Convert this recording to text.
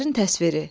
Hisslərin təsviri.